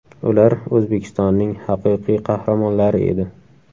Ular O‘zbekistonning Haqiqiy Qahramonlari edi.